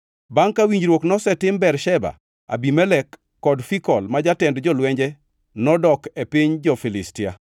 Bangʼ ka winjruok nosetim Bersheba, Abimelek kod Fikol ma jatend jolwenje nodok e piny jo-Filistia.